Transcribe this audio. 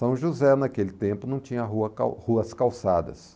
São José, naquele tempo, não tinha rua cal, ruas calçadas.